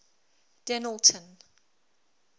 dennilton